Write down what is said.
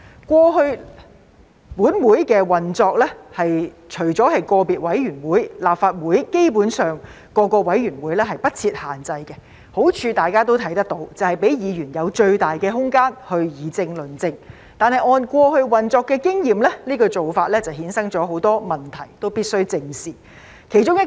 過去本會的運作方面，除了個別委員會外，立法會各個委員會對人數基本上不設限制，大家也能看到當中的好處，便是讓議員有最大的空間去議政論政，但按過去運作的經驗，這個做法衍生很多問題，我們都必須正視。